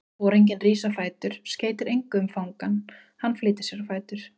Foringinn rís á fætur, skeytir engu um fangann, hann flýtir sér á fætur.